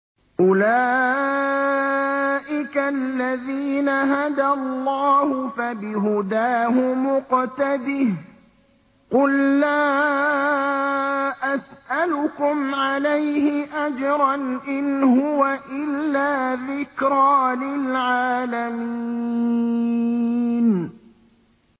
أُولَٰئِكَ الَّذِينَ هَدَى اللَّهُ ۖ فَبِهُدَاهُمُ اقْتَدِهْ ۗ قُل لَّا أَسْأَلُكُمْ عَلَيْهِ أَجْرًا ۖ إِنْ هُوَ إِلَّا ذِكْرَىٰ لِلْعَالَمِينَ